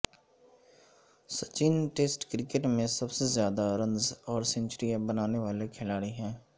Sachin test cricket میں سب سے زیادہ رنز اور سنچریاں بنانے والے کھلاڑی ہیں